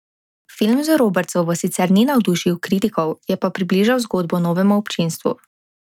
Film z Robertsovo sicer ni navdušil kritikov, je pa približal zgodbo novemu občinstvu.